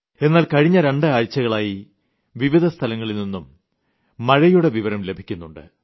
എന്നാൽ കഴിഞ്ഞ രണ്ട് ആഴ്ചകളിലായി വിവിധ സ്ഥലങ്ങളിൽ നിന്നും മഴയുടെ വിവരം ലഭിക്കുന്നുണ്ട്